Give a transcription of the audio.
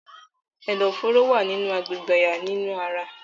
Ẹdọfóró wa ni agbegbe àyà ninu ara.